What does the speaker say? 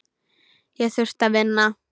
Ég þurfti að vinna.